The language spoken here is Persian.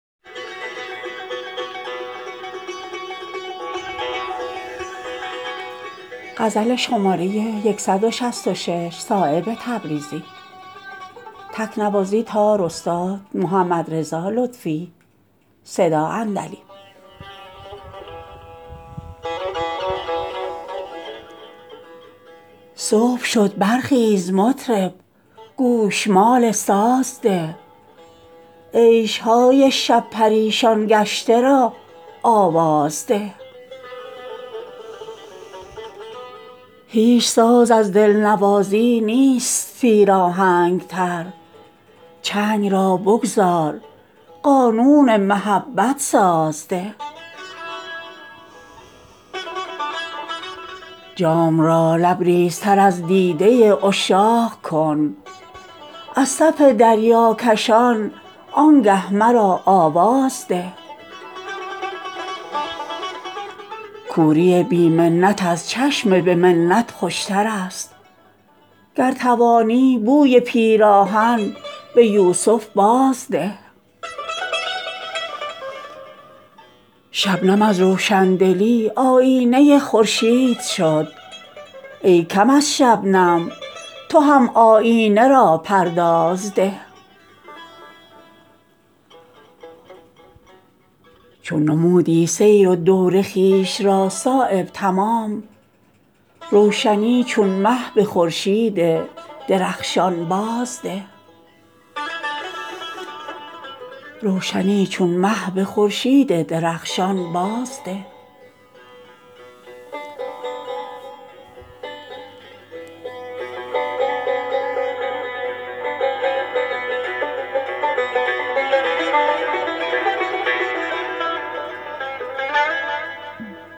صبح شد برخیز مطرب گوشمال ساز ده عیشهای شب پریشان گشته را آواز ده هیچ ساز از دلنوازی نیست سیر آهنگتر چنگ را بگذار قانون محبت ساز ده جام را لبریزتر از دیده عشاق کن از صف دریاکشان آنگه مرا آواز ده مرغ دل را بیش ازین مپسند در بند قفس شاهباز لامکان را شهپر پرواز ده تیره منشین در حریم میکشان چون زاهدان پیش یوسف طلعتان آیینه را پرداز ده موجه دریای رحمت کار خود را می کند اختیار دل به آن زلف کمندانداز ده سرمپیچ از بی دلی زنهار از زخم زبان بوسه ها چون شمع روشن بر دهان گاز ده کوری بی منت از چشم به منت خوشترست گر توانی بوی پیراهن به یوسف باز ده قابل احسان نمی باشند کافرنعمتان از قفس نالندگان را رخصت پرواز ده خنده های بی غمی در کوهساران مفت نیست همچو کبکان تن به زخم چنگل شهباز ده شبنم از روشندلی آیینه خورشید شد ای کم از شبنم تو هم آیینه را پرداز ده ناله حاضر جواب کوهکن استاده است دل ز سنگ خاره کن در بیستون آواز ده چون نمودی سیر و دور خویش را صایب تمام روشنی چون مه به خورشید درخشان باز ده